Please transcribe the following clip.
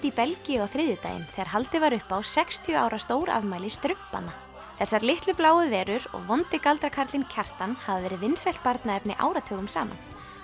í Belgíu á þriðjudaginn þegar haldið var upp á sextíu ára stórafmæli strumpanna þessar litlu bláu verur og vondi galdrakarlinn Kjartan hafa verið vinsælt barnaefni áratugum saman